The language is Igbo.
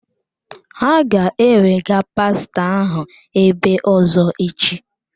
Ha ga-ẹwega pastọ ahụ ebe ọ̀zọ́ echi.